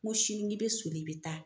N ko sini n k'i bɛ soli i bɛ taa.